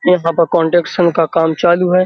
यहाँ पे कन्स्ट्रक्शन का काम चालू है।